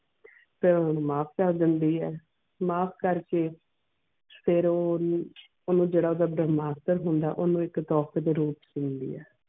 ਤੇ ਹੁਣ ਮਾਫ ਕਰ ਦੇਂਦੀਆਂ ਮਾਫ ਕਰ ਕੇ ਫਿਰ ਉਹ ਓਨੁ ਓਨੁ ਜੇਰਾ ਓਦਾਂ ਹੋਂਦ ਓਨੁ ਇਕ ਦੇ ਰੂਪ ਛ ਸੁੰਡੀ ਇਹ.